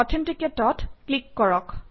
Authenticate অত click কৰক